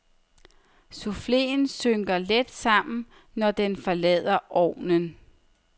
Souffleen synker let sammen, når den forlader ovnen.